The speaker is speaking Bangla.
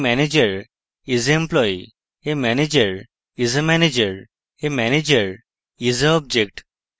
a manager isa employee